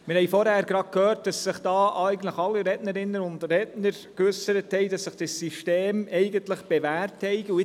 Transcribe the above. Wir haben gerade vorhin gehört, als sich alle Rednerinnen und Redner geäussert haben, dass sich das System eigentlich bewährt hat.